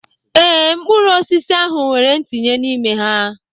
Ee, mkpụrụ osisi ahụ nwere ntinye n'ime ha.